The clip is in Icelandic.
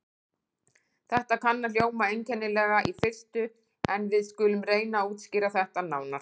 Þetta kann að hljóma einkennilega í fyrstu, en við skulum reyna að útskýra þetta nánar.